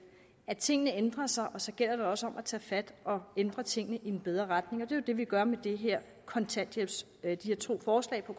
at tingene ændrer sig og så gælder det også om at tage fat og ændre tingene i en bedre retning og det er jo det vi gør med de her to forslag på